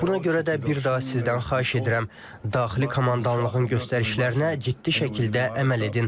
Buna görə də bir daha sizdən xahiş edirəm, daxili komandanlığın göstərişlərinə ciddi şəkildə əməl edin.